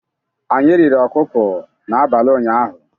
Anyị riri ọkụkọ n'abalị ụnyaahụ.